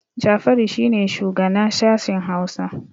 Jafaru shi ne shugana sashin Hausa